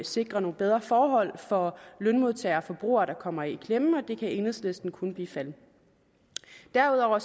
sikrer nogle bedre forhold for lønmodtagere og forbrugere der kommer i klemme og det kan enhedslisten kun bifalde derudover